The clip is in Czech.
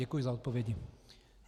Děkuji za odpovědi.